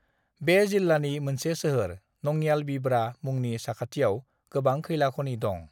बे जिल्लानि मोनसे सोहोर नंयालबिब्रा मुंनि साखाथियाव गोबां खैला खनि दं।